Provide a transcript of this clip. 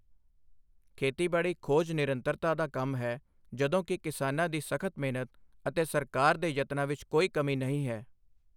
ਖੇਤੀਬਾੜੀ ਖੋਜ ਨਿਰੰਤਰਤਾ ਦਾ ਕੰਮ ਹੈ, ਜਦੋਂ ਕਿ ਕਿਸਾਨਾਂ ਦੀ ਸਖ਼ਤ ਮਿਹਨਤ ਅਤੇ ਸਰਕਾਰ ਦੇ ਯਤਨਾਂ ਵਿੱਚ ਕੋਈ ਕਮੀ ਨਹੀਂ ਹੈ।